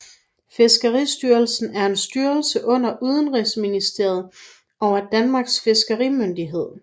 Fiskeristyrelsen er en styrelse under Udenrigsministeriet og er Danmarks fiskerimyndighed